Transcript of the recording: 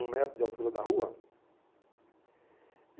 um metro de altura da rua.